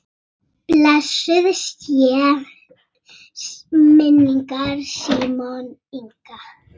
Blessuð sé minning Símonar Inga.